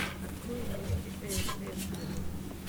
открой вместе рф на тв